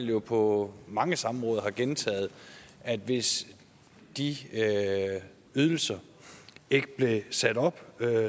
jo på mange samråd gentaget at hvis de ydelser ikke blev sat op